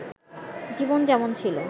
জীবন যেমন ছিল